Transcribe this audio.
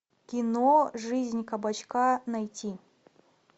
кино жизнь кабачка найти